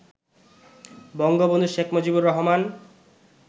Bangabandhu Sheikh Mujibur Rahman